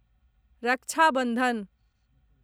रक्षा बन्धन